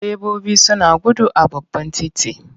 Direbobi suna gudu a babban titi.